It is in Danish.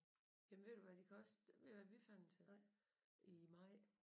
Jamen ved du hvad de koster ved du hvad vi fandt dem til i maj